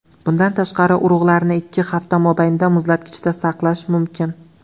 Bundan tashqari, urug‘larni ikki hafta mobaynida muzlatkichda saqlash mumkin.